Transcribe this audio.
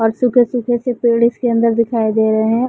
और सूखे सूखे से पेड़ इसके अंदर दिखाई दे रहे हैं ।